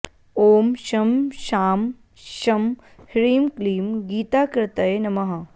ॐ शं शां षं ह्रीं क्लीं गीताकृतये नमः